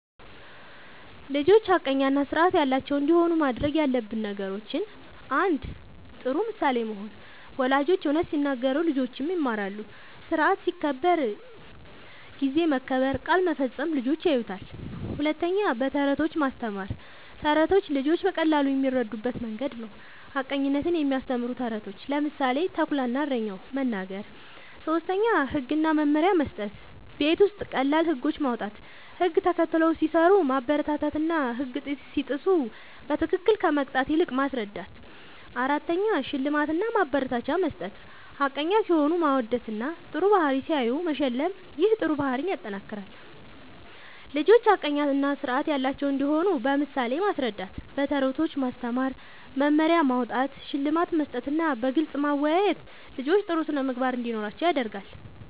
ልጆች ሐቀኛ እና ስርዓት ያላቸው እንዲሆኑ ማድረግ ያለብን ነገሮችን፦ ፩. ጥሩ ምሳሌ መሆን፦ ወላጆች እውነት ሲናገሩ ልጆችም ይማራሉ። ስርዓት ሲከበር (ጊዜ መከበር፣ ቃል መፈጸም) ልጆች ያዩታል። ፪. በተረቶች ማስተማር፦ ተረቶች ልጆች በቀላሉ የሚረዱበት መንገድ ነዉ። ሐቀኝነትን የሚያስተምሩ ተረቶችን (ምሳሌ፦ “ተኩላ እና እረኛው”) መናገር። ፫. ህግ እና መመሪያ መስጠት፦ ቤት ውስጥ ቀላል ህጎች ማዉጣት፣ ህግ ተከትለው ሲሰሩ ማበረታታትና ህግ ሲጥሱ በትክክል ከመቅጣት ይልቅ ማስረዳት ፬. ሽልማት እና ማበረታቻ መስጠት፦ ሐቀኛ ሲሆኑ ማወደስና ጥሩ ባህሪ ሲያሳዩ መሸለም ይህ ጥሩ ባህሪን ያጠናክራል። ልጆች ሐቀኛ እና ስርዓት ያላቸው እንዲሆኑ በምሳሌ ማስረዳት፣ በተረቶች ማስተማር፣ መመሪያ ማዉጣት፣ ሽልማት መስጠትና በግልጽ ማወያየት ልጆች ጥሩ ስነ ምግባር እንዲኖራቸዉ ያደርጋል